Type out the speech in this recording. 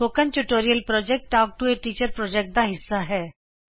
spoken tutorial project talk to a teacher project ਦਾ ਹੀਸਾ ਹੈ